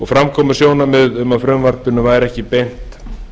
fram komu sjónarmið um að frumvarpinu væri ekki beint